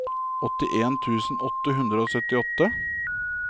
åttien tusen åtte hundre og syttiåtte